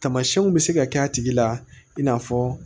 Tamasiyɛnw bɛ se ka k'a tigi la i n'a fɔ